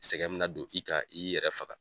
Sɛgɛn min na don i kan, i y'i yɛrɛ faga